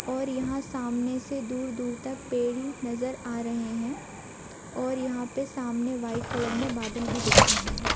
और यहाँ सामने से दूर-दूर तक पेड़ ही नजर आ रहे हैं और यहाँ सामने वाइट कलर में बादल भी दिख रहे हैं।